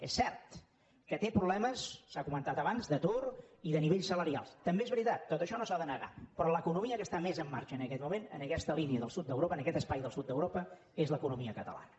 és cert que té problemes s’ha comentat abans d’atur i de nivells salarials també és veritat tot això no s’ha de negar però l’economia que està més en marxa en aquest moment en aquesta línia del sud d’europa en aquest espai del sud d’europa és l’economia catalana